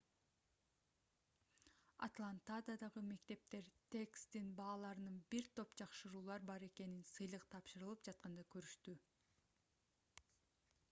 атлантадагы мектептер тесттин бааларында бир топ жакшыруулар бар экенин сыйлык тапшырылып жатканда көрүштү